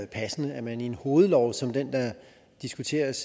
passende at man i en hovedlov som den der diskuteres